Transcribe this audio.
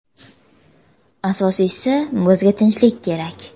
Asosiysi bizga tinchlik kerak.